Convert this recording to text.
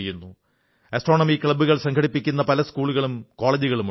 astronomy ക്ലബ്ബുകൾ സംഘടിപ്പിക്കുന്ന പല സ്കൂളുകളും കോളജുകളുമുണ്ട്